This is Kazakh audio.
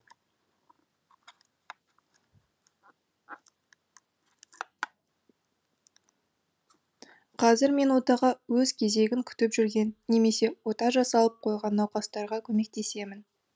қазір мен отаға өз кезегін күтіп жүрген немесе ота жасалып қойған науқастарға көмектесемін